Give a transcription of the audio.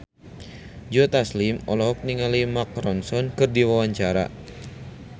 Joe Taslim olohok ningali Mark Ronson keur diwawancara